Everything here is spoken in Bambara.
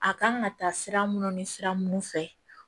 A kan ka taa sira minnu ni sira minnu fɛ